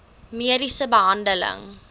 mediese behandeling